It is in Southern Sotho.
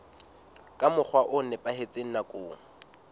ka mokgwa o nepahetseng nakong